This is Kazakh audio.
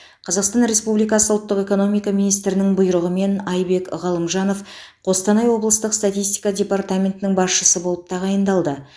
қазақстан республикасы ұлттық экономика министрінің бұйрығымен айбек ғалымжанов қостанай облыстық статистика департаментінің басшысы болып тағайындалды